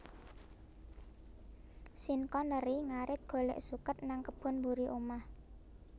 Sean Connery ngarit golek suket nang kebon mburi omah